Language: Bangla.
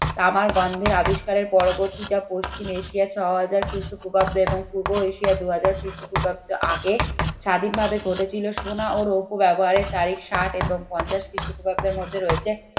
তামার গন্ধের আবিষ্কারের পরবর্তীটা পশ্চিম এশিয়ার ছয় হাজার খ্রিস্টপূর্বাব্দে এবং পূর্ব এশিয়ায় দুই হাজার খ্রিস্টপূর্বাব্দে আগে স্বাধীনভাবে ঘটেছিল সোনা ও রৌপ্য ব্যবহারের তারিফ ষাট এবং পঞ্চাশ খ্রিস্টপূর্বাব্দের মধ্যে রয়েছে